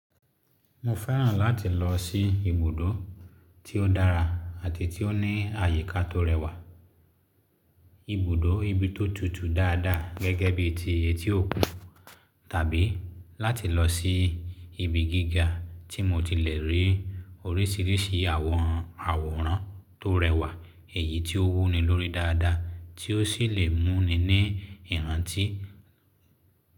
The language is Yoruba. Mo fẹ́ràn láti lọ sí ibùdó tí ó dára àti tí ó ní àyíká tó rẹwà. Ibùdó ibi tó tutù dada gẹ́gẹ́ bí i ti Etiọ́kù tàbí láti lọ sí ibi gíga tí mo ti le rí orísìírísìí àwọn àwòrán tó rẹwà, èyí tí ó wuni lórí dada tí ó sì le mú ni ní ìrántí.